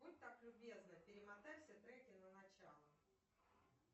будь так любезна перемотай все треки на начало